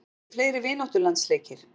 Verða ekki fleiri vináttulandsleikir?